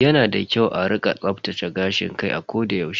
Yana da kyau a rika tsaftace gashin kai a koda yaushe.